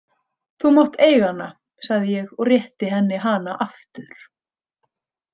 Þú mátt eiga hana, sagði ég og rétti henni hana aftur.